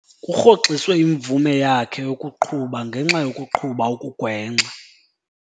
Kurhoxiswe imvume yakhe yokuqhuba ngenxa yokuqhuba okugwenxa.